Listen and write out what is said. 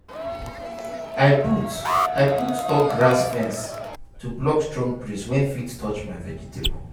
i put i put tall grass fence to block strong breeze wey fit touch my vegetable.